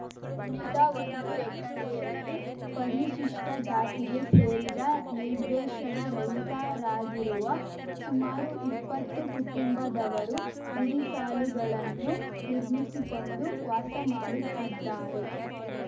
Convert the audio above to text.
ಉಳಿದ ಒಂದು ಎಕರೆಯಲ್ಲಿ ಪರಿಶಿಷ್ಟಜಾತಿಗೆ ಸೇರಿದ ನಿರ್ವೇಶನ ರಹಿತರಾಗಿರುವ ಸುಮಾರು ಇಪ್ಪತ್ತು ಕುಟುಂಬದವರು ಗುಡಿಸಾಲುಗಳನ್ನು ನಿರ್ಮಿಸಿಕೊಂಡು ವಾಸ ಮಾಡುತ್ತಿದ್ದಾರೆ